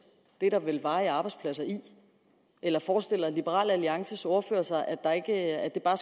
det er der vel varige arbejdspladser i eller forestiller liberal alliances ordfører sig at at det bare